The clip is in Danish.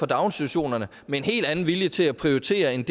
daginstitutionerne med en helt anden vilje til at prioritere end